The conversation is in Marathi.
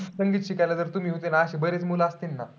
संगीत शिकायला जर तुम्ही होते ना अशे बरेच मुलं असतीन ना?